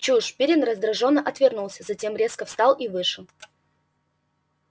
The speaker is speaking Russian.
чушь пиренн раздражённо отвернулся затем резко встал и вышел